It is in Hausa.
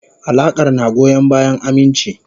Alakar na goyon bayan aminci.